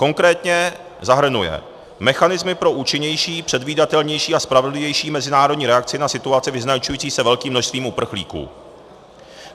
Konkrétně zahrnuje mechanismy pro účinnější, předvídatelnější a spravedlivější mezinárodní reakci na situaci vyznačující se velkým množstvím uprchlíků.